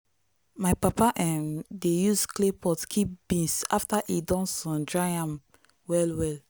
my papa um dey use clay pot keep beans after e don sun-dry am well well.